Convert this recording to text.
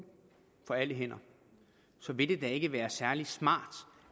for alle hænder så vil det da ikke være særlig smart